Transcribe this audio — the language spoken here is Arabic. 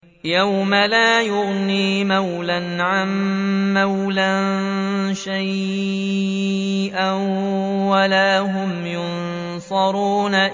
يَوْمَ لَا يُغْنِي مَوْلًى عَن مَّوْلًى شَيْئًا وَلَا هُمْ يُنصَرُونَ